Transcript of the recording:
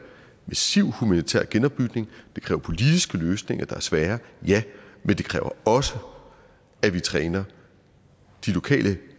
massiv humanitær genopbygning det kræver politiske løsninger der er svære ja men det kræver også at vi træner de lokale